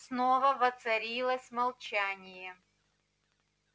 снова воцарилось молчание